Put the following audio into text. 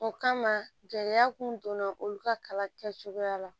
O kama gɛlɛya kun donna olu ka kalan kɛcogoya la